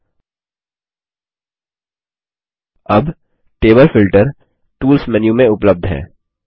अब table filter table filter tools menu में उपलब्ध है